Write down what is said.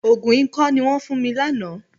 Òògùn ikọ́ ni wọ́n fún mi lánàá.